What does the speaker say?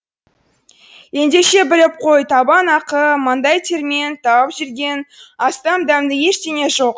ендеше біліп қой табан ақы маңдай термен тауып жеген астан дәмді ештеңе жоқ